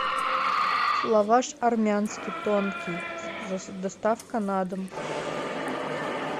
лаваш армянский тонкий доставка на дом